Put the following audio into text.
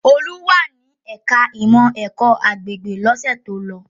Olú wà ní ẹ̀ka-ìmọ̀ ẹ̀kọ́-agbègbè lọ́sẹ̀ tó lọ.